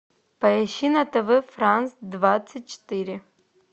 поищи на тв франс двадцать четыре